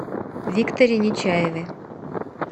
викторе нечаеве